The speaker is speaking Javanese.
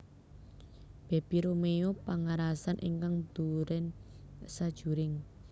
Bebi Romeo pangarasan ingkang nduren sajuring